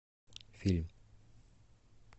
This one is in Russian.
фильм